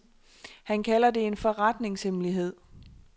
Han kalder det en forretningshemmelighed.